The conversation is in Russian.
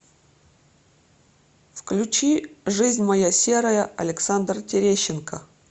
включи жизнь моя серая александр терещенко